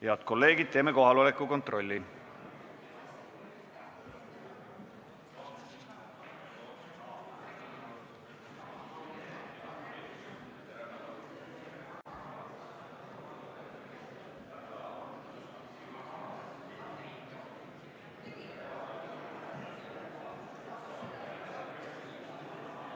Head kolleegid, teeme kohaloleku kontrolli.